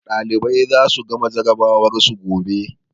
Ɗalibai za su gama jarabawar su gobe.